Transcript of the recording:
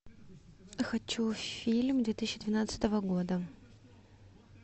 хочу фильм две тысячи двенадцатого года